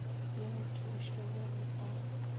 le mathuši o be o